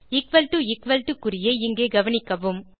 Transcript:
equal to equal to குறியை இங்கே கவனிக்கவும்